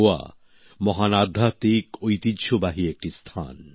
গোয়া মহান আধ্যাত্বিক ঐতিহ্যবাহী একটি স্থান